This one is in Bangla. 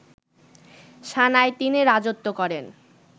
সানায় তিনি রাজত্ব করেন